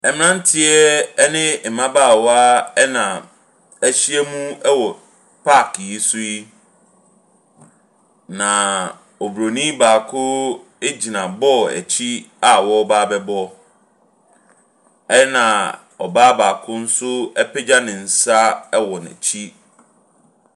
Mmranteɛ ne mmabaawa na ahyiam wɔ park yi so yi. Na Oburoni baako gyina ball akyi a ɔreba abɛbɔ. Ɛna ɔbaa baako nso apegya ne nsa wɔ n'akyi.